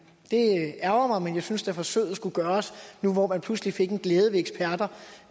det ærgrer mig men jeg synes da at forsøget skulle gøres for nu hvor man pludselig fik en glæde